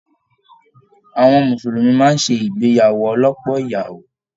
Àwọn mùsùlùmí máa n sé ìgbéyàwó ọlọ́pọ́ ìyàwó.